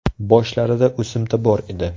Boshlarida o‘simta bor edi.